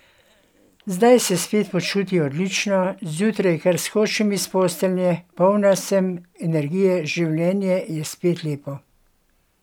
Zdaj se spet počuti odlično: "Zjutraj kar skočim iz postelje, polna sem energije, življenje je spet lepo!